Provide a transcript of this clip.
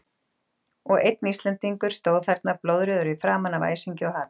Og einn Íslendingur stóð þarna, blóðrjóður í framan af æsingi og hatri.